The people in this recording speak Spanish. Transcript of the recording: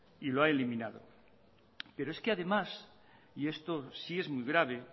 y lo ha eliminado pero es que además y esto sí es muy grave